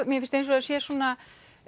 mér finnst eins og það sé svona